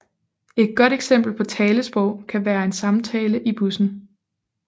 Et godt eksempel på talesprog kan være en samtale i bussen